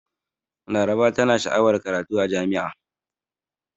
Laraba tana sha'awar karatu a jami'a.